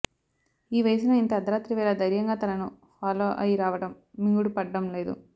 ఈ వయసులో ఇంత అర్థరాత్రి వేళ దైర్యంగా తనను ఫాలో అయి రావడం మింగుడు పడ్డం లేదు